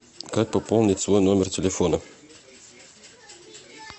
как пополнить свой номер телефона